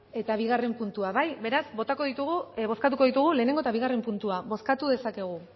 eta bigarren puntua beraz bozkatuko ditugu lehenengo eta bigarren puntua bozkatu dezakegu